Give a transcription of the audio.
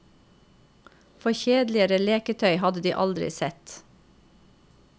For kjedeligere leketøy hadde de aldri sett.